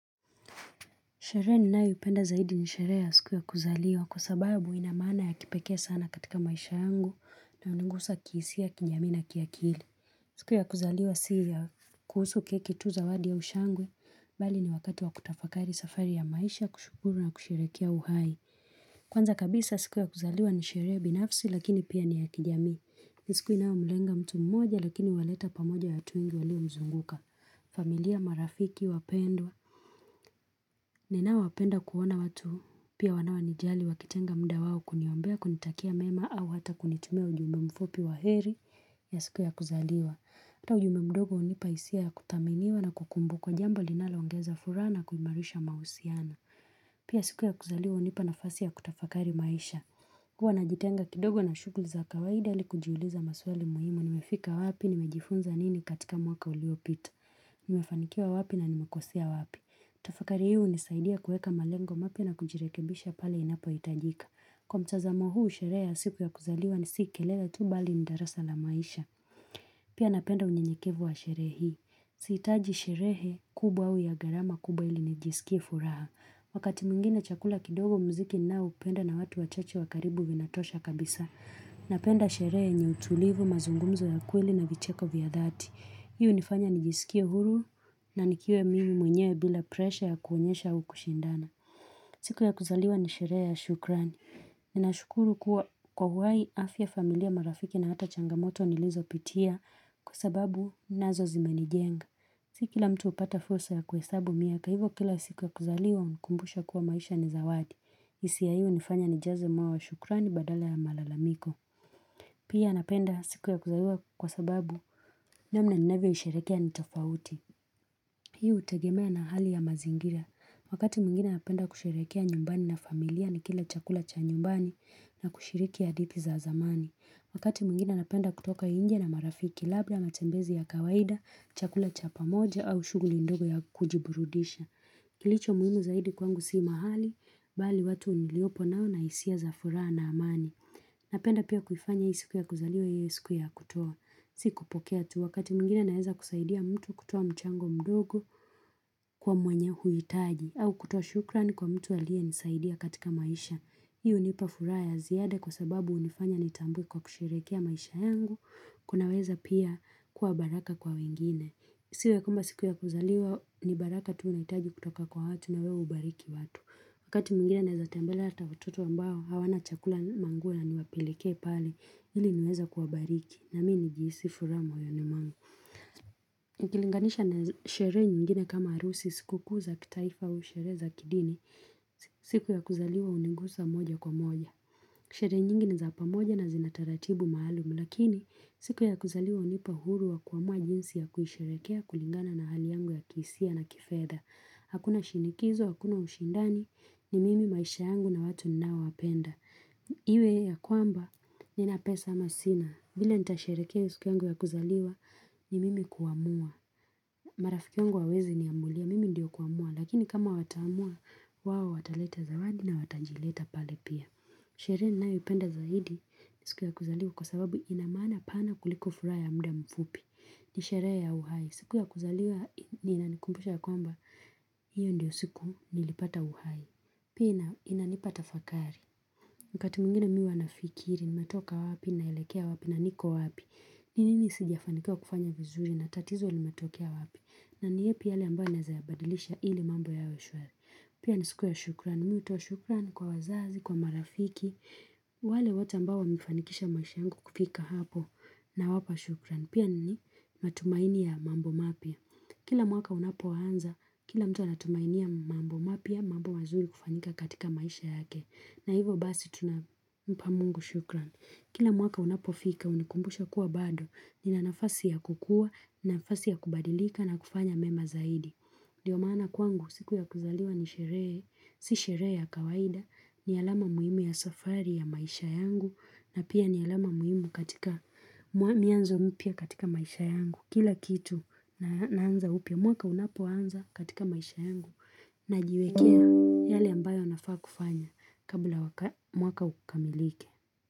Sherehe ninayoipenda zaidi ni sherehe ya siku ya kuzaliwa kwa sababu ina maana ya kipekee sana katika maisha yangu na hunigusa kihisia, kijamii na kiakili. Siku ya kuzaliwa si ya kuhusu keki tu, zawadi au shangwe. Bali ni wakati wa kutafakari safari ya maisha, kushukuru na kusherehekea uhai. Kwanza kabisa siku ya kuzaliwa ni sherehe binafsi lakini pia ni ya kijamii. Ni siku inayomlenga mtu mmoja lakini huwaleta pamoja watu wengi waliomzunguka. Familia, marafiki, wapendwa. Ninawapenda kuona watu, pia wanaonijali wakitenga muda wao kuniombea, kunitakia mema au hata kunitumia ujumbe mfupi wa heri ya siku ya kuzaliwa. Hata ujumbe mdogo hunipa hisia ya kuthaminiwa na kukumbukwa, jambo linaloongeza furaha na kuimarisha mahusiano. Pia siku ya kuzaliwa hunipa nafasi ya kutafakari maisha. Huwa najitenga kidogo na shughuli za kawaida ili kujiuliza maswali muhimu, nimefika wapi, nimejifunza nini katika mwaka uliopita. Nimefanikiwa wapi na nimekosea wapi. Tafakari hii hunisaidia kuweka malengo mapya na kujirekebisha pale inapohitajika. Kwa mtazamo huu sherehe ya siku ya kuzaliwa ni si kelele tu bali ni darasa la maisha. Pia napenda unyenyekevu wa sherehe hii. Sihitaji sherehe kubwa au ya gharama kubwa ili nijisikie furaha. Wakati mwingine chakula kidogo, muziki ninaoupenda na watu wachache wa karibu vinatosha kabisa. Napenda sherehe yenye utulivu, mazungumuzo ya kweli na vicheko vya dhati. Hii hunifanya nijisikie huru na nikiwa mimi mwenyewe bila presha ya kuonyesha au kushindana. Siku ya kuzaliwa ni sherehe ya shukrani. Ninashukuru kuwa kwa uhai, afya, familia, marafiki na hata changamoto nilizopitia kwa sababu nazo zimenijenga. Si kila mtu hupata fursa ya kuhesabu miaka hivyo kila siku ya kuzaliwa hunikumbusha kuwa maisha ni zawadi. Hisia hii hunifanya nijaze moyo wa shukrani badala ya malalamiko. Pia napenda siku ya kuzaliwa kwa sababu namna ninavyoisherehekea ni tofauti. Hii hutegemea na hali ya mazingira. Wakati mwingine napenda kusherehekea nyumbani na familia nikila chakula cha nyumbani na kushiriki hadithi za zamani. Wakati mwingine napenda kutoka nje na marafiki. Labda matembezi ya kawaida, chakula cha pamoja au shughuli ndogo ya kujiburudisha. Kilicho muhimu zaidi kwangu si mahali, bali watu niliopo nao na hisia za furaha na amani. Napenda pia kuifanya hii siku ya kuzaliwa iwe siku ya kutoa. Si kupokea tu. Wakati mwingine naeza kusaidia mtu kutoa mchango mdogo kwa mwenye huitaji, au kutoa shukurani kwa mtu aliyenisaidia katika maisha. Hii hunipa furaha ya ziada kwa sababu hunifanya nitambue kwa kusherehekea maisha yangu, kunaweza pia kuwa baraka kwa wengine. Isiwe kwamba siku ya kuzaliwa ni baraka tu unahitaji kutoka kwa watu na wewe hubariki watu. Wakati mwingine naweza tembelea hata watoto ambao hawana chakula, manguo, na niwapelekee pale ili niweze kuwabariki na mi nijihisi furaha moyoni mwangu. Nikilinganisha na sherehe nyingine kama harusi, siku kuu za kitaifa au sherehe za kidini, siku ya kuzaliwa hunigusa moja kwa moja. Sherehe nyingi ni za pamoja na zina taratibu maalumu lakini siku ya kuzaliwa hunipa uhuru wa kuamua jinsi ya kuisherehekea kulingana na hali yangu ya kihisia na kifedha. Hakuna shinikizo, hakuna ushindani, ni mimi maisha yangu na watu ninaowapenda. Iwe ya kwamba nina pesa ama sina, vile nitasherehekea siku yangu ya kuzaliwa ni mimi kuamua. Marafiki yangu hawawezi niamulia, mimi ndio kuamua lakini kama wataamua wao wataleta zawadi na watajileta pale pia. Sherehe ninayoipenda zaidi ni siku ya kuzaliwa kwa sababu ina maana pana kuliko furaha ya muda mfupi. Ni sherehe ya uhai. Siku ya kuzaliwa ni inanikumbusha ya kwamba hiyo ndiyo siku nilipata uhai. Pia na inanipa tafakari. Wakati mwingine mi huwa nafikiri, nimetoka wapi naelekea wapi na niko wapi. Ni nini sijafanikiwa kufanya vizuri na tatizo linatokea wapi. Na ni yepi yale ambayo naeza yabadilisha ili mambo yawe shwari. Pia ni siku ya shukurani. Mi hutoa shukran kwa wazazi, kwa marafiki, wale wote ambao wamefanikisha maisha yangu kufika hapo. Nawapa shukurani. Pia ni matumaini ya mambo mapya. Kila mwaka unapoanza, kila mtu anatumainia mambo mapya, mambo mazuri kufanyika katika maisha yake. Na hivyo basi tunampa mungu shukurani. Kila mwaka unapofika, unanikumbusha kuwa bado nina nafasi ya kukua, nafasi ya kubadilika na kufanya mema zaidi. Ndio maana kwangu, siku ya kuzaliwa ni sherehe, si sherehe ya kawaida, ni alama muhimu ya safari ya maisha yangu, na pia ni alama muhimu katika, mianzo mpya katika maisha yangu. Kila kitu naanza upya, mwaka unapoanza katika maisha yangu, najiwekea yale ambayo nafaa kufanya kabla mwaka ukamilike.